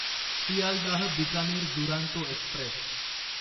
Sealdah Bikaner Duronto Express